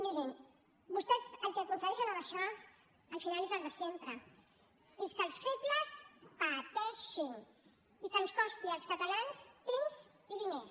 mirin vostès el que aconsegueixen amb això al final és el de sempre és que els febles pateixin i que ens costi als catalans temps i diners